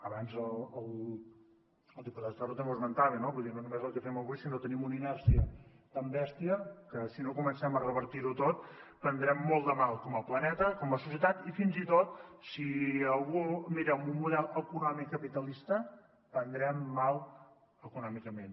abans el diputat ferro també ho esmentava no vull dir no és només el que fem avui sinó que tenim una inèrcia tan bèstia que si no comencem a revertir ho tot prendrem molt de mal com a planeta com a societat i fins i tot si algú s’ho mira en un model econòmic capitalista prendrem mal econòmicament